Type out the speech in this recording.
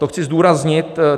To chci zdůraznit.